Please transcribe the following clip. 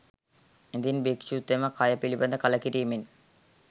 ඉදින් භික්‍ෂුතෙම කය පිළිබඳ කලකිරීමෙන්